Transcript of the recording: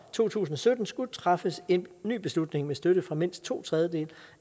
to tusind og sytten skulle træffes en ny beslutning med støtte fra mindst to tredjedele